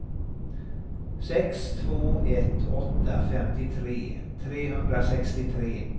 sex två ett åtta femtiotre trehundrasextiotre